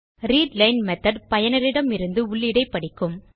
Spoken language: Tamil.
ரீட்லைன் மெத்தோட் பயனரிடமிருந்து உள்ளீடை படிக்கும்